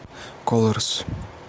колорс